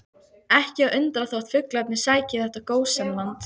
Ekki að undra þótt fuglarnir sæki í þetta gósenland.